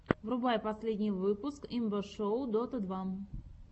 врубай последний выпуск имба шоу дота два